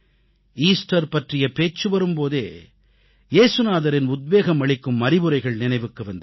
Easter பற்றிய பேச்சு வரும் போதே ஏசுநாதரின் உத்வேகம் அளிக்கும் அறிவுரைகள் நினைவுக்கு வந்து விடும்